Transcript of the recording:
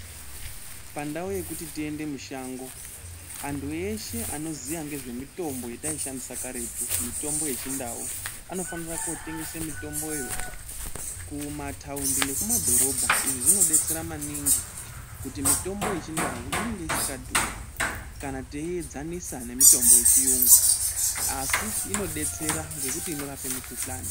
Pandawu yekuti tiende mushango andu eshe anoziya ngezvemitombo yataishandisa karetu mitombo yechiNdau anofanirwa kotengese mitomboyo kumataundi nekumadhorobha izvi zvinobatsira maningi kuti mitombo yechiNdau inenge isinga dhuri kana teiyenzanisa nemitombo yechiyungu asi inobetsera nekuti inorape mikhuhlane.